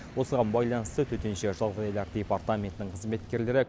осыған байланысты төтенше жағдайлар департаментінің қызметкерлері